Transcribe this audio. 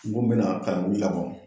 Kungo min bɛna ka olu